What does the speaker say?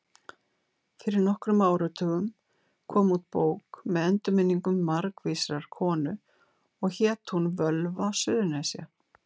Fyrir nokkrum áratugum kom út bók með endurminningum margvísrar konu og hét hún Völva Suðurnesja.